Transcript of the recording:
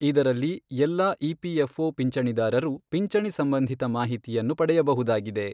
ಇದರಲ್ಲಿ ಎಲ್ಲ ಇಪಿಎಫ್ಒ ಪಿಂಚಣಿದಾರರು, ಪಿಂಚಣಿ ಸಂಬಂಧಿತ ಮಾಹಿತಿಯನ್ನು ಪಡೆಯಬಹುದಾಗಿದೆ.